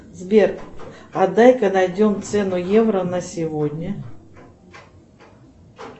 сбер а дай ка найдем цену евро на сегодня